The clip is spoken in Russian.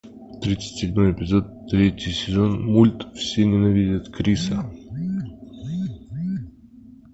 тридцать седьмой эпизод третий сезон мульт все ненавидят криса